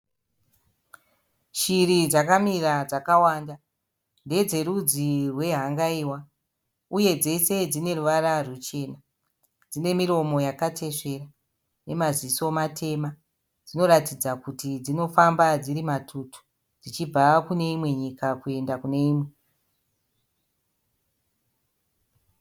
Shiri dzakamira dzakawanda .Ndedzerudzi rwe hangaiwa uye dzose dzine ruvara rwuchena. Dzine miromo yakatesvera nemaziso matema . Dzinoratidza kuti dzinofamba dziri matutu dzichibva kuneimwe nyika kuenda kuneimwe.